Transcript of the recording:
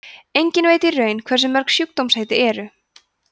enginn veit í raun hversu mörg sjúkdómaheitin eru